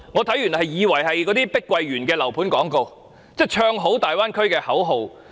"看完我以為這是碧桂園的樓盤廣告，是"唱好"粵港澳大灣區的口號。